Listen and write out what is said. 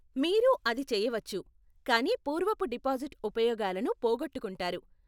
మీరు అది చేయవచ్చు, కానీ పూర్వపు డిపాజిట్ ఉపయోగాలను పోగొట్టుకుంటారు.